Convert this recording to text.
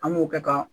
An b'o kɛ ka